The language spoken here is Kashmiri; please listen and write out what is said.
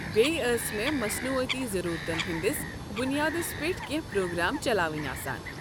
بییٚہِ ٲسۍ مےٚ مصنوُعٲتی ضٔروٗرتن ہٕنٛدِس بُنیادس پٮ۪ٹھ کٮ۪نٛہہ پروگرام چلاوٕنہِ آسان۔